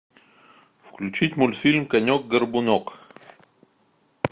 включить мультфильм конек горбунок